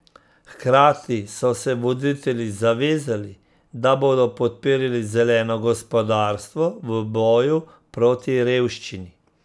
Hkrati so se voditelji zavezali, da bodo podpirali zeleno gospodarstvo v boju proti revščini.